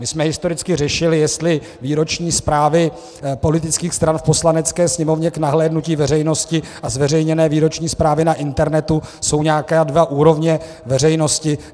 My jsme historicky řešili, jestli výroční zprávy politických stran v Poslanecké sněmovně k nahlédnutí veřejnosti a zveřejněné výroční zprávy na internetu jsou nějaké dvě úrovně veřejnosti.